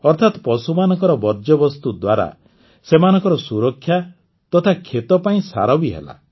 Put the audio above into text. ଅର୍ଥାତ୍ ପଶୁମାନଙ୍କର ବର୍ଜ୍ୟବସ୍ତୁ ଦ୍ୱାରା ସେମାନଙ୍କ ସୁରକ୍ଷା ତଥା କ୍ଷେତ ପାଇଁ ସାର ବି ହେଲା